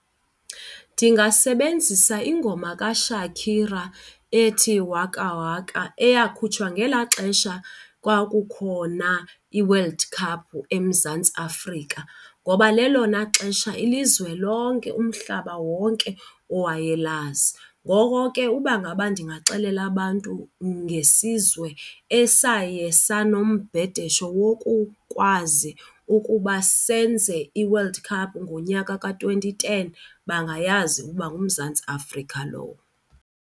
Ndingasebenzisa ingoma kaShakira ethi Waka Waka eyakhutshwa ngela xesha kwakukhona iWorld Cup eMzantsi Afrika ngoba lelona xesha ilizwe lonke, umhlaba wonke owayelazi. Ngoko ke uba ngaba ndingaxelela abantu ngesizwe esaye sanombhedesho wokukwazi ukuba senze iWorld Cup ngonyaka ka-twenty ten, bangayazi ukuba nguMzantsi Afrika lowo.